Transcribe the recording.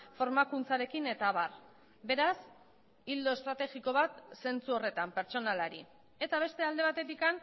formakuntzarekin eta abar beraz ildo estrategiko bat zentzu horretan pertsonalari eta beste alde batetik